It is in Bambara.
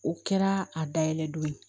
O kɛra a da yɛlɛ don